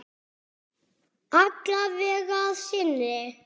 Alla vega að sinni.